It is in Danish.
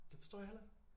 Det forstår jeg heller ikke